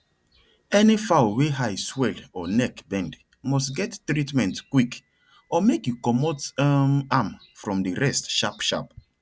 any fowl wey eye swell or neck bend must get treatment quick or make you comot um am from the rest sharp sharp